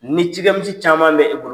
Ni cikɛ misi caman bɛ i bolo.